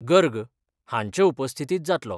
गर्ग हांच्या उपस्थितीत जातलो.